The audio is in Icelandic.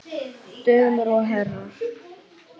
Dömur og herrar!